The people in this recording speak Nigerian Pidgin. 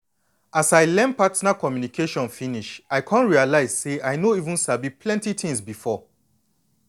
as i learn partner communication finish i come realize say i no even sabi plenty things before.